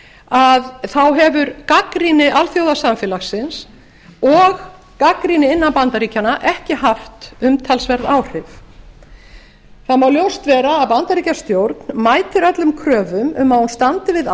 guantanamo þá hefur gagnrýni alþjóðasamfélagsins og gagnrýni innan bandaríkjanna ekki haft umtalsverð áhrif það má ljóst vera að bandaríkjastjórn mætir öllum kröfum um að hún standi við